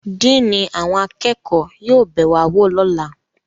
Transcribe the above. Diini awọn akẹko yóò be wa wo lọla